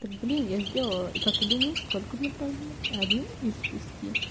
блин я сделала и как ты думаешь сколько мне правильных один из шести